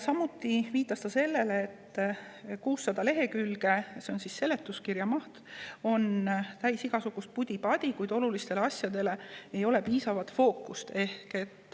Samuti viitas ta sellele, et 600 lehekülge, mis on seletuskirja maht, on täis igasugust pudi-padi, kuid fookus ei ole olulistel asjadel.